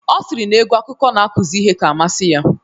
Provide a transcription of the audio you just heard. Ọ sịrị na egwu akụkọ na-akụzi ihe ka amasị ya